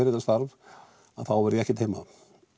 þetta starf þá verð ég ekkert heima